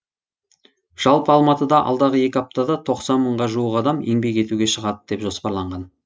жалпы алматыда алдағы екі аптада тоқсан мыңға жуық адам еңбек етуге шығады деп жоспарланған